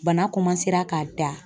Bana ka da